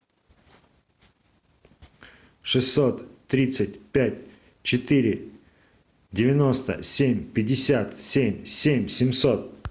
шестьсот тридцать пять четыре девяносто семь пятьдесят семь семь семьсот